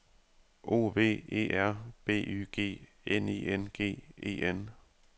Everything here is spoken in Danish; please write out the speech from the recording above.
O V E R B Y G N I N G E N